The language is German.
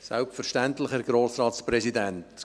Selbstverständlich, Herr Grossratspräsident!